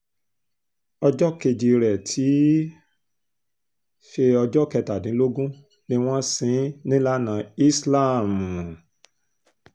ọjọ́ kejì rẹ̀ tí í um ṣe ọjọ́ kẹtàdínlógún ni wọ́n ṣí in nílànà islam um